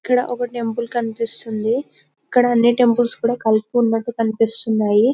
ఇక్కడ ఒక టెంపుల్ కనిపిస్తుంది ఇక్కడ అని టెంపుల్స్ కూడా కలిపి ఉన్నటు కనిపిస్తున్నాయి.